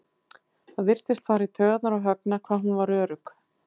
Það virtist fara í taugarnar á Högna hvað hún var örugg.